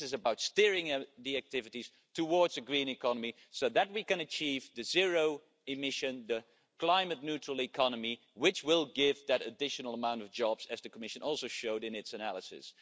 this is about steering the activities towards a green economy so that we can achieve the zero emission, climate neutral economy, which will provide the additional amount of jobs that the Commission showed in its analysis.